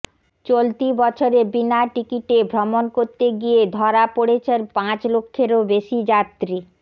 চলতি বছরে বিনা টিকিটে ভ্রমণ করতে গিয়ে ধরা পড়েছেন পাঁচ লক্ষেরও বেশি যাত্রী